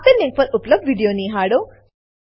આપેલ લીંક પર ઉપલબ્ધ વિડીયો નિહાળો